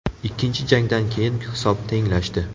Ikkinchi jangdan keyin hisob tenglashdi.